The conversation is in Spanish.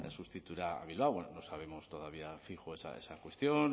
sustituirá a bilbao bueno no sabemos todavía fijo esa cuestión